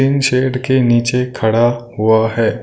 Tin shed के नीचे खड़ा हुआ है।